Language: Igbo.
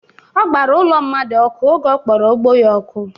Ọ gbara ụlọ mmadụ ọkụ oge ọ kpọrọ ugbo ya ọkụ